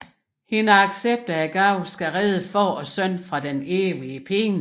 Hendes accept af gaven skal redde far og søn fra den evige pine